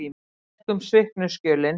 Tékkum sviknu skjölin.